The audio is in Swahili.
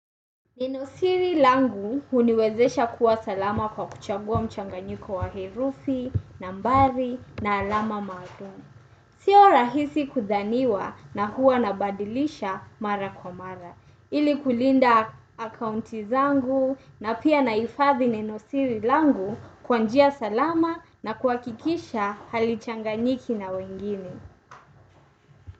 Neno siri langu huniwezesha kuwa salama kwa kuchagua mchanganyiko wa herufi, nambari, na alama maalumu. Sio rahisi kudhaniwa na huwa nabadilisha mara kwa mara. Ili kulinda akaunti zangu na pia naifadhi nenosiri langu kwa njia salama na kuhakikisha halichanganyiki na wengine.